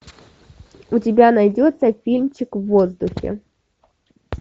у тебя найдется фильмчик в воздухе